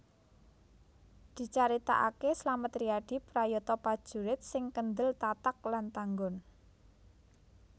Dicaritakaké Slamet Riyadi prayata prajurit sing kendel tatag lan tanggon